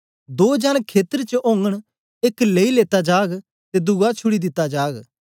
दो जन खेतर च ओगन एक लेई लेता जाग ते दुआ छुड़ी दिता जाग